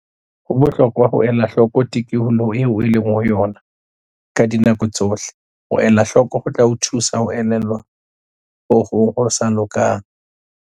Ho bohlokwa ho ela hloko tikoloho eo o leng ho yona ka dinako tsohle. Ho elahloko ho tla o thusa ho elellwa ha ho hong ho sa loka.